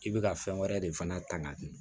I bɛ ka fɛn wɛrɛ de fana ta ka dun